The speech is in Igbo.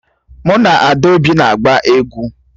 Mụ na Adaobi na-agba egwu